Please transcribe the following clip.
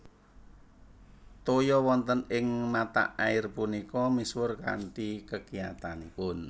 Toya wonten ing mata air punika misuwur kanthi kekiyatanipun